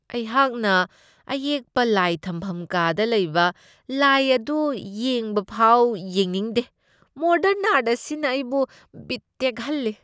ꯑꯩꯍꯥꯛꯅ ꯑꯌꯦꯛꯄ ꯂꯥꯏ ꯊꯝꯐꯝ ꯀꯥꯗ ꯂꯩꯕ ꯂꯥꯏ ꯑꯗꯨ ꯌꯦꯡꯕ ꯐꯥꯎ ꯌꯦꯡꯅꯤꯡꯗꯦ , ꯃꯣꯗꯔ꯭ꯟ ꯑꯥꯔꯠ ꯑꯁꯤꯅ ꯑꯩꯕꯨ ꯕꯤꯠ ꯇꯦꯛꯍꯜꯂꯤ ꯫